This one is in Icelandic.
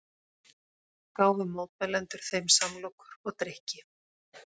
Gáfu mótmælendur þeim samlokur og drykki